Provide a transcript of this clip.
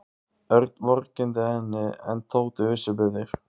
Örn vorkenndi henni en Tóti vissi betur.